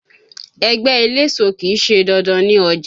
Ẹgbẹ́ eléso kì í ṣe dandan ní ọjà.